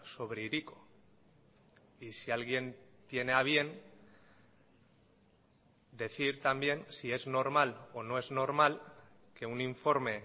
sobre hiriko y si alguien tiene a bien decir también si es normal o no es normal que un informe